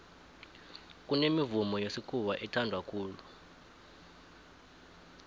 kunemivumo yesikhuwa ethanwa khulu